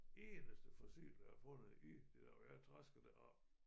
Eneste fossil jeg har fundet i det der og jeg har trasket deroppe